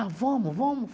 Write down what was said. Ah, vamos, vamos.